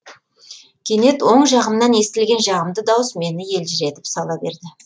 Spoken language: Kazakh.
кенет оң жағымнан естілген жағымды дауыс мені елжіретіп сала берді